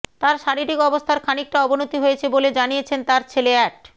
তার শারীরিক অবস্থার খানিকটা অবনতি হয়েছে বলে জানিয়েছেন তার ছেলে অ্যাড